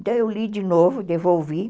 Daí eu li de novo, devolvi.